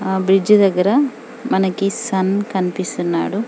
ఆహ్ బ్రిడ్జి దెగ్గర మనకు సన్ కనిపిస్తున్నాడు .